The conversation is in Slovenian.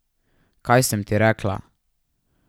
Kaj sem ti rekla?